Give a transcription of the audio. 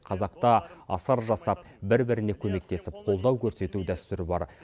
қазақта асар жасап бір біріне көмектесіп қолдау көрсету дәстүрі бар